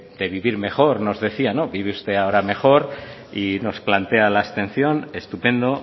de vivir mejor nos decía y vive usted ahora mejor y nos plantea la abstención estupendo